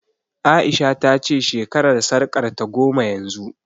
A'isha ta ce shekarar sarƙarta goma yanzu